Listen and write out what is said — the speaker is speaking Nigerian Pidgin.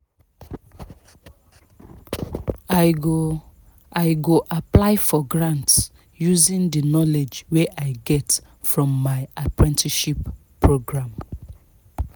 i go i go apply for grants using the knowledge wey i get from my apprenticeship programme